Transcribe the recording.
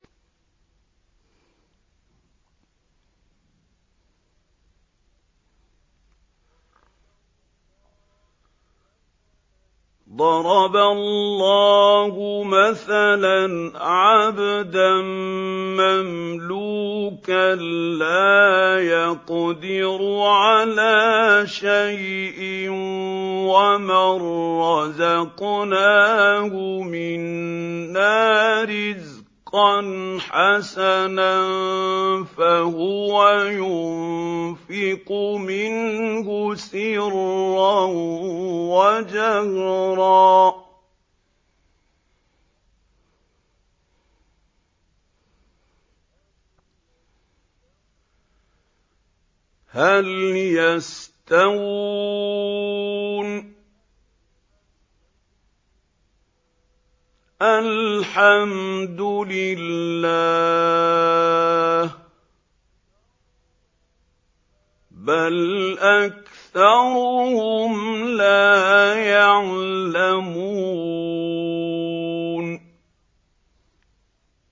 ۞ ضَرَبَ اللَّهُ مَثَلًا عَبْدًا مَّمْلُوكًا لَّا يَقْدِرُ عَلَىٰ شَيْءٍ وَمَن رَّزَقْنَاهُ مِنَّا رِزْقًا حَسَنًا فَهُوَ يُنفِقُ مِنْهُ سِرًّا وَجَهْرًا ۖ هَلْ يَسْتَوُونَ ۚ الْحَمْدُ لِلَّهِ ۚ بَلْ أَكْثَرُهُمْ لَا يَعْلَمُونَ